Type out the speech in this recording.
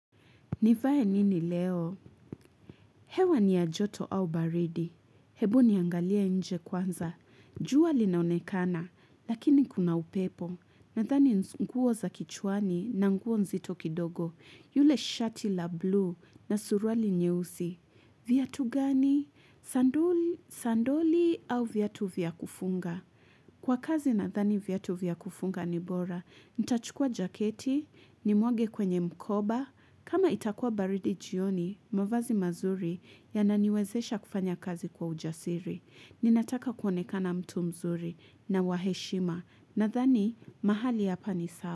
Nivae nini leo? Hewa ni ya joto au baridi? Hebu niangalie nje kwanza. Jua linaonekana, lakini kuna upepo. Nadhani nguo za kichwani na nguo nzito kidogo yule shati la blue na suruali nyeusi. Viatu gani? Sandali au viatu vya kufunga? Kwa kazi nadhani viatu vya kufunga ni bora. Nitachukua jaketi, nimwage kwenye mkoba kama itakua baridi jioni, mavazi mazuri yananiwezesha kufanya kazi kwa ujasiri. Ninataka kuonekana mtu mzuri na wa heshima. Nadhani, mahali hapa ni sawa.